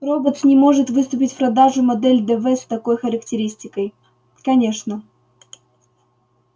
роботс не может выпустить в продажу модель дв с такой характеристикой конечно